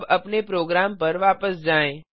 अब अपने प्रोग्राम पर वापस जाएँ